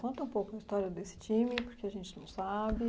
Conta um pouco a história desse time, porque a gente não sabe.